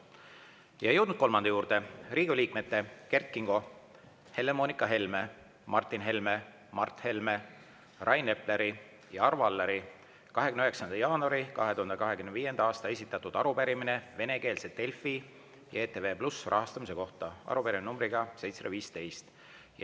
Ja oleme jõudnud kolmanda juurde: Riigikogu liikmete Kert Kingo, Helle-Moonika Helme, Martin Helme, Mart Helme, Rain Epleri ja Arvo Alleri 29. jaanuaril 2025. aastal esitatud arupärimine venekeelse Delfi ja ETV+ rahastamise kohta, arupärimine nr 715.